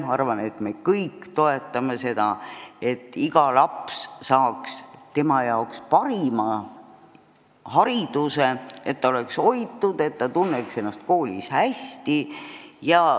Arvan, et me kõik toetame seda, et iga laps saaks tema jaoks parima hariduse, et ta oleks hoitud, et ta tunneks ennast koolis hästi.